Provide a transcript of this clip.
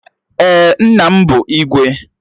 Ee, nna m bụ Igwe